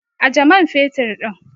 Aje man fetur ɗin!